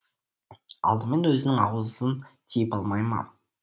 алдымен өзінің аузын тиып алмай ма